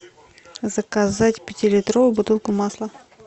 заказать пятилитровую бутылку масла